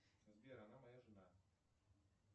сбер она моя жена